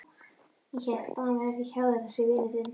Ég hélt að hann væri hjá þér þessi vinur þinn.